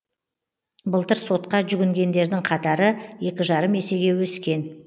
былтыр сотқа жүгінгендердің қатары екі жарым есеге өскен